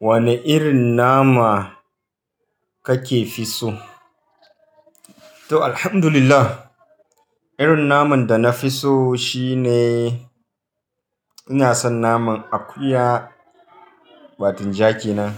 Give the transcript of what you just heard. Wane irin nama kake fi so? To, Alhamdulillah, irin naman da na fi so shine ina son naman akuya, batinja kenan.